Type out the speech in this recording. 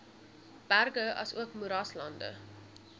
berge asook moeraslande